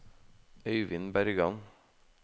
Øivind Bergan